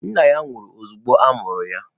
Nna ya nwụrụ ozugbo a mụrụ ya.